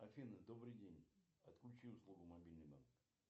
афина добрый день отключи услугу мобильный банк